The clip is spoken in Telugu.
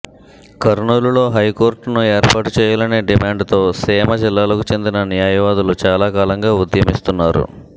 కర్నూలులో హైకోర్టును ఏర్పాటు చేయాలనే డిమాండ్ తో సీమ జిల్లాలకు చెందిన న్యాయవాదులు చాలాకాలంగా ఉద్యమిస్తున్నారు